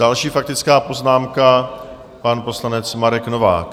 Další faktická poznámka, pan poslanec Marek Novák.